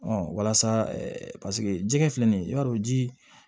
walasa paseke jɛgɛ filɛ nin ye i b'a dɔn ji